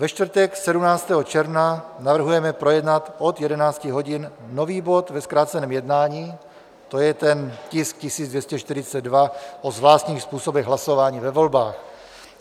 Ve čtvrtek 17. června navrhujeme projednat od 11 hodin nový bod ve zkráceném jednání, to je ten tisk 1242, o zvláštních způsobech hlasování ve volbách.